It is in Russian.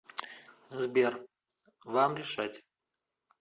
сбер вам решать